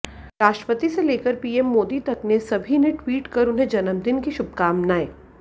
राष्ट्रपति से लेकर पीएम मोदी तक ने सभी ने ट्वीट कर उन्हें जन्मदिन की शुभकामनाएं